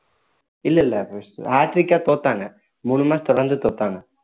இல்லை இல்லை தோத்தாங்க மூணு match தொடர்ந்து தோத்தாங்க